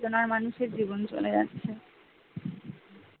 চেতনার মানুষের জীবন চলে যাচ্ছে